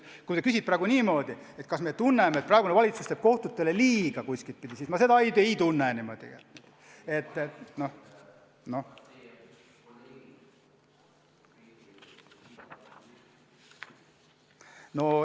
Kui sa küsid praegu seda, kas me tunneme, et praegune valitsus teeb kohtutele kuidagi liiga, siis ma seda ei tunne.